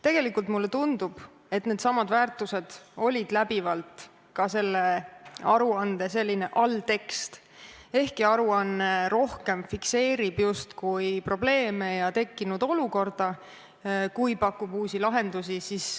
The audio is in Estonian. Tegelikult mulle tundub, et needsamad väärtused olid läbivalt ka selle aruande alltekst, ehkki aruanne rohkem fikseerib justkui probleeme ja tekkinud olukorda, kui pakub uusi lahendusi.